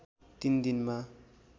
तिन दिनमा